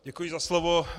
Děkuji za slovo.